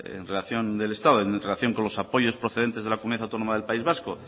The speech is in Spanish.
del estado en relación con los apoyos procedentes de la comunidad autónoma del país vasco